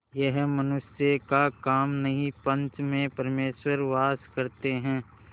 यह मनुष्य का काम नहीं पंच में परमेश्वर वास करते हैं